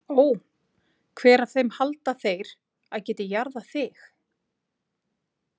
Ó, hver af þeim halda þeir að geti jarðað þig?